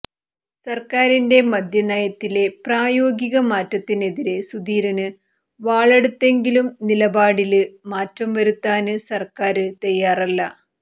സര്ക്കാരിന്റെ മദ്യനയത്തിലെ പ്രായോഗികമാറ്റത്തിനെതിരെ സുധീരന് വാളെടുത്തെങ്കിലും നിലപാടില് മാറ്റം വരുത്താന് സര്ക്കാര് തയ്യാറല്ല